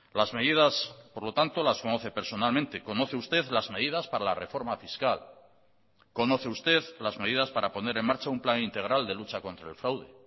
las medidas por lo tanto las conoce personalmente conoce usted las medidas para la reforma fiscal conoce usted las medidas para poner en marcha un plan integral de lucha contra el fraude